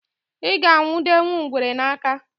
I ga-anwụdenwu ngwere n'aka